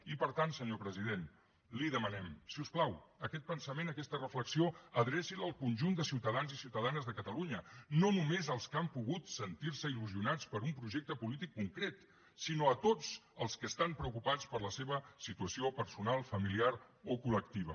i per tant senyor president li demanem si us plau aquest pensament aquesta reflexió adreci la al conjunt de ciutadans i ciutadanes de catalunya no només als que han pogut sentir se il·lusionats per un projecte polític concret sinó a tots els que estan preocupats per la seva situació personal familiar o col·lectiva